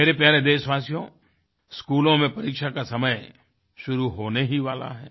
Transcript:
मेरे प्यारे देशवासियो स्कूलों में परीक्षा का समय शुरू होने ही वाला है